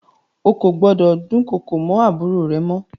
Ó kò gbọ́dọ̀ dúnkokò mọ́ àbúrò rẹ mọ.